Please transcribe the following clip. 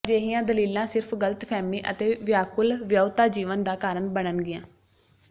ਅਜਿਹੀਆਂ ਦਲੀਲਾਂ ਸਿਰਫ ਗਲਤਫਹਿਮੀ ਅਤੇ ਵਿਆਕੁਲ ਵਿਆਹੁਤਾ ਜੀਵਨ ਦਾ ਕਾਰਨ ਬਣਨਗੀਆਂ